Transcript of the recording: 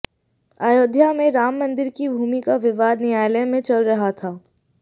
अयोध्या में राम मंदिर की भूमि का विवाद न्यायालय में चल रहा था